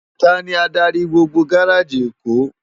Táni ádári gbógbó gáráji Ékó?